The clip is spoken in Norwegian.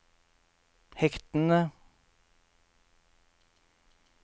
hektene